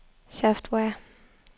software